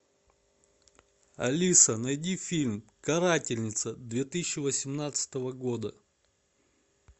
алиса найди фильм карательница две тысячи восемнадцатого года